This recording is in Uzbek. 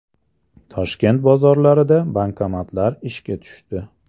Toshkent bozorlarida bankomatlar ishga tushdi .